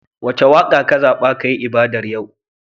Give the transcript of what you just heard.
Wace waƙa kazaɓa kayi ibadar yau?